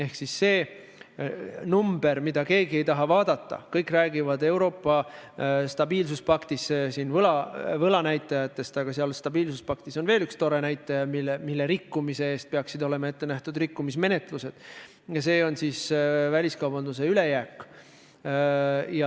Ehk number, mida keegi ei taha vaadata – kõik räägivad Euroopa stabiilsuspakti puhul võlanäitajatest, aga seal on veel üks tore näitaja, mille rikkumise eest peaksid olema ette nähtud rikkumismenetlused –, see on väliskaubanduse ülejääk.